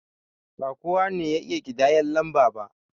Ba kowa ne ya iya ƙidayan lamba ba